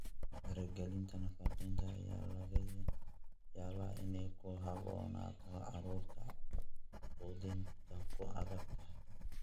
Faragelinta nafaqeynta ayaa laga yaabaa inay ku habboonaato carruurta quudintu ku adag tahay.